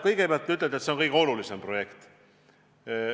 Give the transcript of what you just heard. Kõigepealt, te ütlete, et see on kõige olulisem projekt.